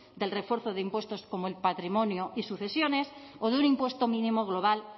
del refuerzo de impuestos como el patrimonio y sucesiones o de un impuesto mínimo global